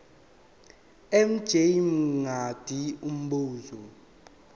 mj mngadi umbuzo